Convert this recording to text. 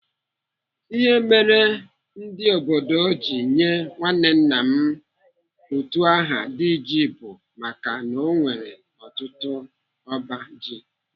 Ihe merenụ ndi obodo ji nye nwanne nna m utu aha Diji bụ maka na ọ nwere ọtụtụ ọba ji